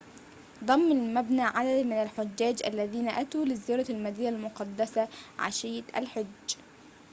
ضم المبنى عدداً من الحجاج الذين أتوا لزيارة المدينة المقدسة عشية الحج